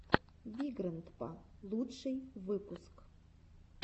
вигрэндпа лучший выпуск